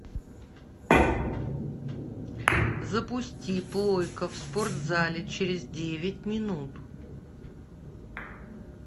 запусти плойка в спортзале через девять минут